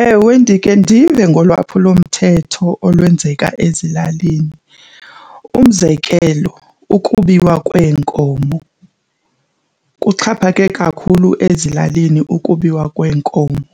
Ewe, ndike ndive ngolwaphulomthetho olwenzeka ezilalini. Umzekelo ukubiwa kweenkomo, kuxhaphake kakhulu ezilalini ukubiwa kweenkomo.